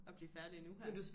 Og blive færdig nu her